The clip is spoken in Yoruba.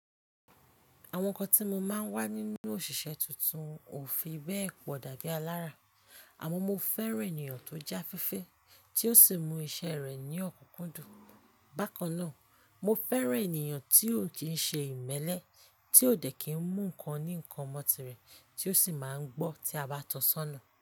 Àwọn ǹkan tí mo máa ń wá nínú òṣìṣẹ́ tuntun ò fi bẹ́ẹ̀ pọ̀ dàbí alára, àmọ́ mo fẹ́ràn ènìyàn tó jẹ́ afẹ́fẹ́, tí ó sì mú iṣẹ́ rẹ̀ ní ọ̀kúkúndùn. Bákan náà, mo fẹ́ràn ènìyàn tí ò kín ń ṣe ìmẹ́lẹ́, tí ò dẹ̀ kín ń mú ǹkan ní ǹkan ọ̀mọ̀tì rẹ̀, tí ó sì máa ń gbọ́ tí a bá tan sọ́nà.